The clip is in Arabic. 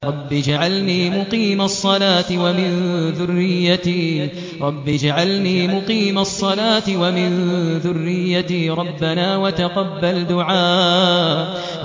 رَبِّ اجْعَلْنِي مُقِيمَ الصَّلَاةِ وَمِن ذُرِّيَّتِي ۚ رَبَّنَا وَتَقَبَّلْ دُعَاءِ